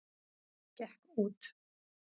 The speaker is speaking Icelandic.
Gekk út.